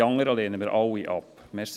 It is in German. Die anderen lehnen wir alle ab.